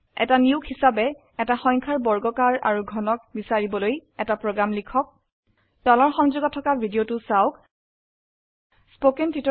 এটা নিয়োগ হিসাবে এটা সংখ্যাৰ বৰ্গাকাৰ আৰু ঘনক বিছাৰিবলৈ এটা প্ৰোগ্ৰাম লিখক স্পোকেন টিউটোৰিয়েল প্ৰকল্পৰ সম্পৰ্কে অধিক জানিবলৈ লিঙ্কত উপলব্ধ ভিডিওটো চাওক